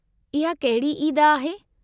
इहा कहिड़ी ईद आहे?